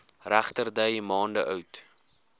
regterdy maande oud